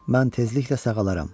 Mən tezliklə sağalaram.